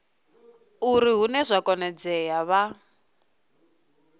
uri hune zwa konadzea vha